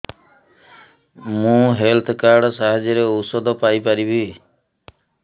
ମୁଁ health card ସାହାଯ୍ୟରେ ଔଷଧ ପାଇ ପାରିବି